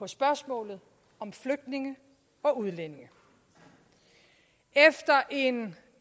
spørgsmålet om flygtninge og udlændinge efter en